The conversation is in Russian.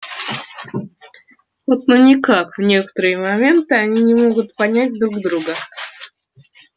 вот ну никак в некоторые моменты они не могут понять друг друга